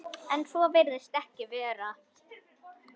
En svo virðist ekki vera.